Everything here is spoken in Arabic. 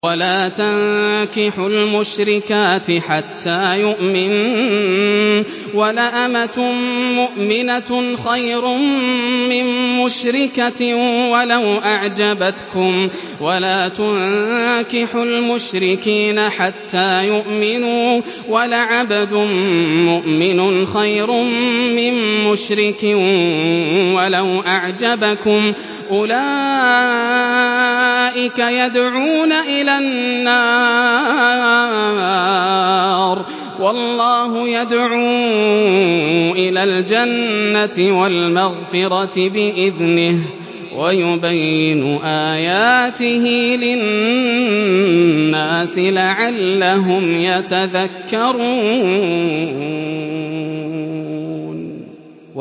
وَلَا تَنكِحُوا الْمُشْرِكَاتِ حَتَّىٰ يُؤْمِنَّ ۚ وَلَأَمَةٌ مُّؤْمِنَةٌ خَيْرٌ مِّن مُّشْرِكَةٍ وَلَوْ أَعْجَبَتْكُمْ ۗ وَلَا تُنكِحُوا الْمُشْرِكِينَ حَتَّىٰ يُؤْمِنُوا ۚ وَلَعَبْدٌ مُّؤْمِنٌ خَيْرٌ مِّن مُّشْرِكٍ وَلَوْ أَعْجَبَكُمْ ۗ أُولَٰئِكَ يَدْعُونَ إِلَى النَّارِ ۖ وَاللَّهُ يَدْعُو إِلَى الْجَنَّةِ وَالْمَغْفِرَةِ بِإِذْنِهِ ۖ وَيُبَيِّنُ آيَاتِهِ لِلنَّاسِ لَعَلَّهُمْ يَتَذَكَّرُونَ